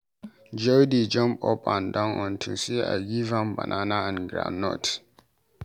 Joy dey jump up and down unto Say I give am banana and groundnut.